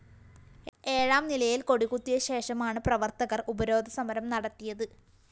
ഏഴാം നിലയില്‍ കൊടികുത്തിയശേഷമാണ് പ്രവര്‍ത്തകര്‍ ഉപരോധസമരം നടത്തിയത്